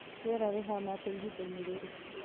rĩera rĩhana atĩa ihinda-inĩ rĩrĩ